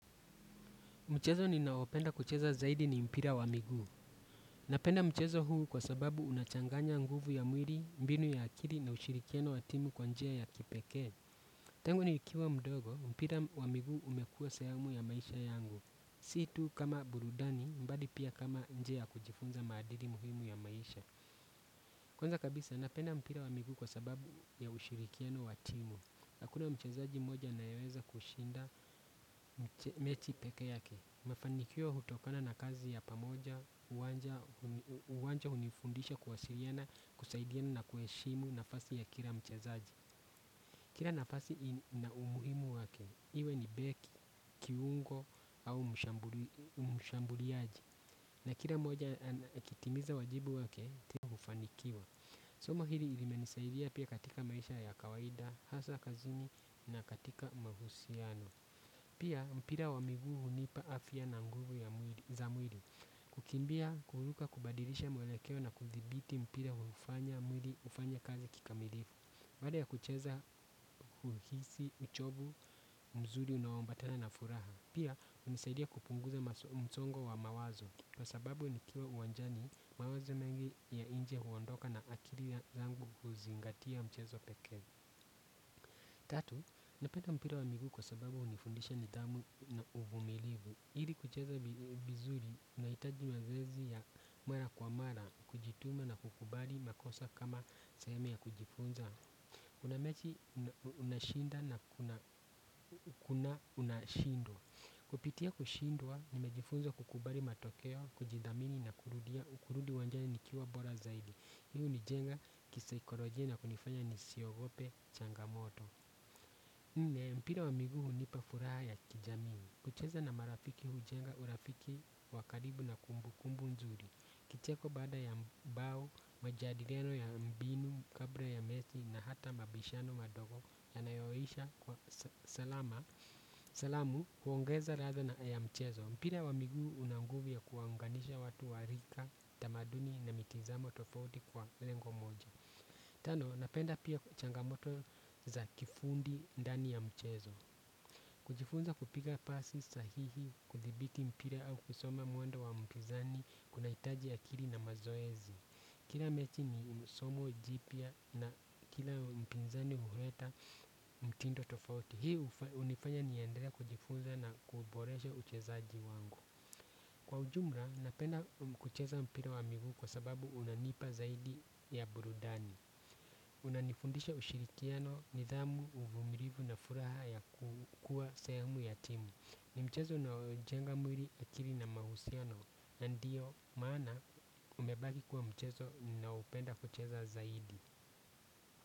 Mchezo ni naopenda kucheza zaidi ni mpira wa miguu. Napenda mchezo huu kwa sababu unachanganya nguvu ya mwili, mbinu ya akiri na ushirikiano watimu kwa njia ya kipeke. Tangu ni ikiwa mdogo, mpira wa miguu umekua sehemu ya maisha yangu. Si tu kama burudani bali pia kama njia ya kujifunza maadili muhimu ya maisha kwanza kabisa napenda mpira wa miguu kwa sababu ya ushirikiano wa timu hakuna mchezaji mmoja anayeweza kushinda mechi pekee yake. Mafanikio hutokana na kazi ya pamoja, uwanja hunifundisha kuwasiriana kusaidiana na kuheshimu nafasi ya kila mchezaji. Kira nafasi ina umuhimu wake, iwe ni beki, kiungo au mshambuliaji. Na kila moja ana akitimiza wajibu wake, tihufanikio. Somo hili ilimenisaidia pia katika maisha ya kawaida, hasa kazini na katika mahusiano. Pia mpira wa miguu hunipa afya na nguvu za mwili. Kukimbia kuruka kubadilisha mwelekeo na kuthibiti mpira hufanya mwili ufanye kazi kikamilifu. Baada ya kucheza, huhisi, uchovu, mzuri, unaombatana na furaha. Pia, unisaidia kupunguza msongo wa mawazo. Kwa sababu ni kiwa uwanjani, mawazo mengi ya nje huondoka na akiri yangu uzingatia mchezo peke. Tatu, napenda mpira wa miguu kwa sababu unifundisha ni dhamu na uvumilivu. Ili kucheza vizuri, unaitaji mazoezi ya mara kwa mara, kujituma na kukubali makosa kama sehemu ya kujifunza. Unamechi, unashinda na kuna unashindwa. Kupitia kushindwa, nimejifunza kukubali matokeo, kujidhamini na kurudia, kurudi uwanjani nikiwa bora zaidi. Hii u nijenga kisaikolojia na kunifanya nisiogope changamoto. Mpira wa miguu unipa furaha ya kijamii. Kucheza na marafiki hujenga urafiki wakaribu na kumbu kumbu nzuri. Kicheko baada ya mbao, majadiriano ya mbinu, kabla ya mechi na hata mabishano madogo ya nayoisha kwa salama salamu huongeza radha na ya mchezo. Mpira wa miguu unanguvu ya kuwaunganisha watu warika, tamaduni na mitizamo tofauti kwa lengo moja. Tano, napenda pia changamoto za kifundi ndani ya mchezo. Kujifunza kupiga pasi sahihi kuthibiti mpira au kusoma mwendo wa mpizani kuna itaji akiri na mazoezi. Kila mechi ni msomo jipia na kila mpizani huleta mtindo tofauti. Hii unifanya ni endele kujifunza na kuboreshe uchezaji wangu. Kwa ujumra, napenda kucheza mpira wa miguu kwa sababu unanipa zaidi ya burudani. Unanifundisha ushirikiano ni dhamu, uvumirivu na furaha ya kukua sehemu ya timu. Ni mchezo unaojenga mwiri akiri na mahusiano, nandiyo maana umebaki kuwa mchezo nina upenda kucheza zaidi.